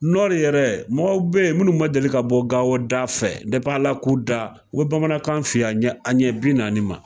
Nɔri yɛrɛ mɔgɔw bɛ yen minnu ma deli ka bɔ Gawo da fɛ ala k'u da u Bamanankan f'i ye a ɲɛ an ɲɛ bi naani ma!